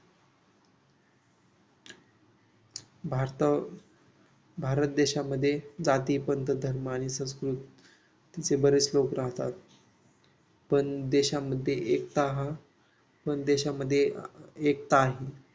भारताला भारत देशामध्ये जाती पद्धत धर्म आणि संस्कृत असेच बरेच लोक राहतात पण देशामध्ये एकता हा पण देशामध्ये एकता आहे